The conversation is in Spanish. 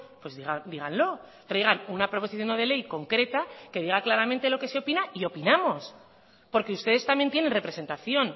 pues díganlo traigan una proposición no de ley concreta que diga claramente lo que se opina y opinamos porque ustedes también tienen representación